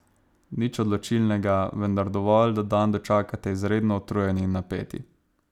Nič odločilnega, vendar dovolj, da dan dočakate izredno utrujeni in napeti.